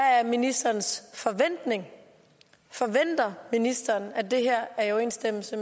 er ministerens forventning forventer ministeren at det her er i overensstemmelse